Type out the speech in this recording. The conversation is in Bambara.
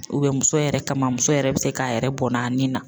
muso yɛrɛ kama muso yɛrɛ bɛ se k'a yɛrɛ bɔnna ni na